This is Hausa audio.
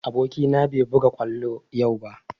Aboki na bai buga kwallo yau ba